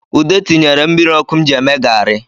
Ude tinyere mmiri ọkụ m ji eme gari